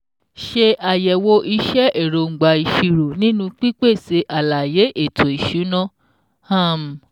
Ṣe àyẹ̀wò iṣẹ́ èróńgbà ìṣirò nínú pípèsè àlàyé éto ìṣúná um